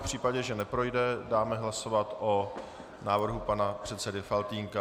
V případě, že neprojde, dáme hlasovat o návrhu pana předsedy Faltýnka.